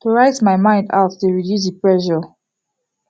to write my mind out dey reduce the pressure